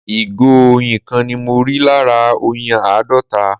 ìgò oyin kan ni mọ rí lára oyin àádọta